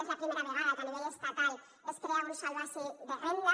és la primera vegada que a nivell estatal es crea un sòl bàsic de renda